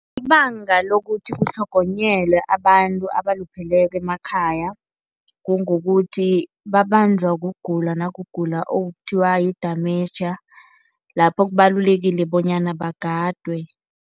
Ibanga lokuthi kutlhogonyelwe abantu abalupheleko emakhaya, kungokuthi babanjwa kugula, nakugula okuthiwa yi-damentia lapho kubalulekile bonyana bagadwe.